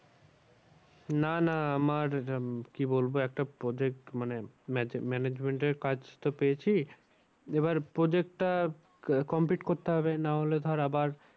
না না আমার উম কি বলবো একটা project মানে management এর কাজ তো পেয়েছি। এবার project টা complete করতে হবে না হলে ধর আবার